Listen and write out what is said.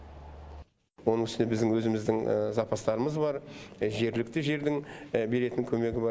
оның үстіне біздің өзіміздің запастарымыз бар жергілікті жердің беретін көмегі бар